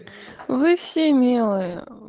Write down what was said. вы все милые